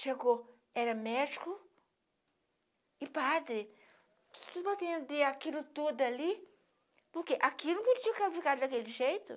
Chegou, era médico e padre, para atender aquilo tudo ali, porque aquilo não podia ficar daquele jeito.